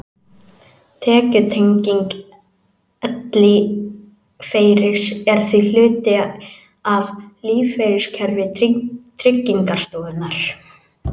Tekjutenging ellilífeyris er því hluti af lífeyriskerfi Tryggingarstofnunar.